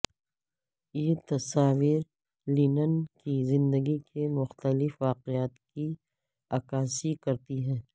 یہ تصاویر لینن کی زندگی کے مختلف واقعات کی عکاسی کرتی ہیں